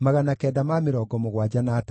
na Nezia, na Hatifa.